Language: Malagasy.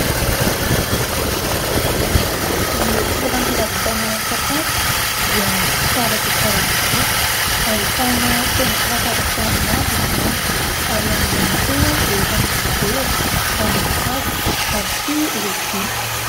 Ny toeram-pivarotana sakafo dia tsara dia tsara tokoa, ahitana seza sy latabatra maro izany ary eo ambonin'ny seza dia efa misy vera, ranom-boakazo ary koa lovia.